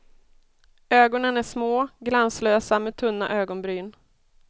Ögonen är små, glanslösa med tunna ögonbryn.